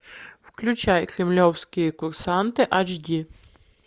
включай кремлевские курсанты айч ди